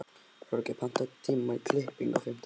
Hróðgeir, pantaðu tíma í klippingu á fimmtudaginn.